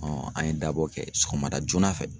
an ye dabɔ kɛ sɔgɔma da joona fɛ.